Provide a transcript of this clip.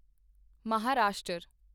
Maharashtra